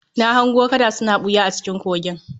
Na hango kada suna ɓuya a cikin kogin